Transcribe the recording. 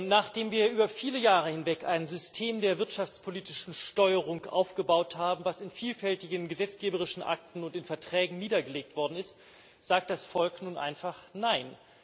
Nachdem wir über viele Jahre hinweg ein System der wirtschaftspolitischen Steuerung aufgebaut haben, was in vielfältigen gesetzgeberischen Akten und in Verträgen niedergelegt worden ist, sagt das Volk nun einfach nein!